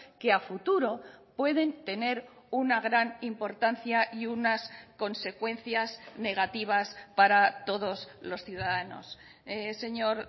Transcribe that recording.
que a futuro pueden tener una gran importancia y unas consecuencias negativas para todos los ciudadanos señor